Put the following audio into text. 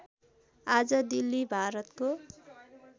आज दिल्ली भारतको